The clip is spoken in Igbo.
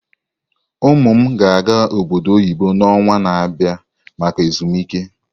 Ụmụ m ga-aga obodo oyibo n'ọnwa na-abịa maka ezumike.